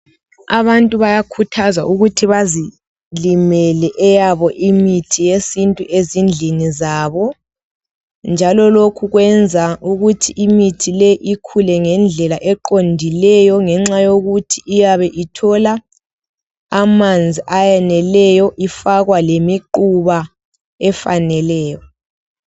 Abantu bayakhuthazwa ukuthi bazilimele eyabo imithi yesintu ezindlini zabo. Njalo lokhu kwenza ukuthi imithi le ikhule ngendlela eqondileyo ngenxa yokuthi iyabe ithola amanzi ayeneleyo, ifakwa lemiquba efaneleyo.